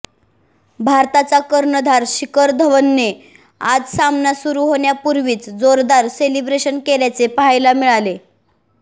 भारताचा कर्णधार शिखर धवनने आज सामना सुरु होण्यापूर्वीच जोरदार सेलिब्रेशन केल्याचे पाहायला मिळाले